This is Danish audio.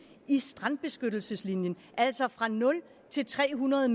i strandbeskyttelseslinjen altså fra nul til tre hundrede